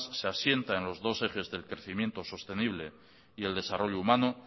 se asienta en los dos ejes del crecimiento sostenible y el desarrollo humano